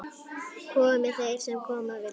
Komi þeir sem koma vilja.